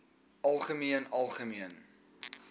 algemeen algemeen